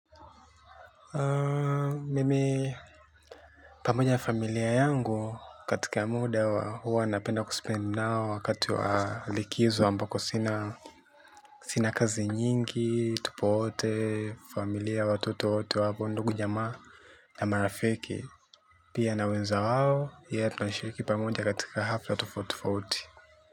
Mimi, pamoja na familia yangu katika muda huwa napenda ku spend nao wakati wa likizo ambako sina kazi nyingi, tupo wote, familia, watoto wote wapo, ndugu jamaa na marafiki. Pia na wenza wao tunashiriki katika hafla tofautitofauti.